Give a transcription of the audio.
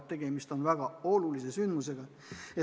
Tegemist on väga tõsise sündmusega.